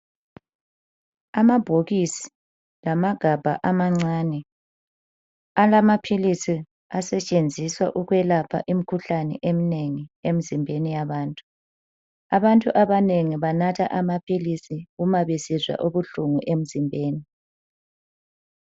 Amabhokisi lamagabha amancane alamaphilisi asetshenziswa ukwelapha imikhuhlane emnengi emzimbeni yabantu. Abantu abanengi banatha amaphilisi mabesizwa ubuhlungu emzimbeni.